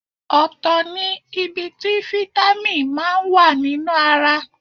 Ọ̀tọ̀ ní ibi tí Fítámì máa wà nínú ara.